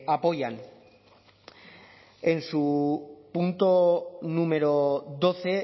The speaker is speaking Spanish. apoyan en su punto número doce